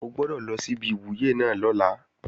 O gbọ́dọ̀ lọ sí ibi ìwúyè náà lọ́la!